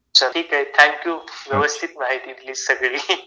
चल ठीक आहे थँक्यू. व्यवस्थित माहिती दिली सगळी.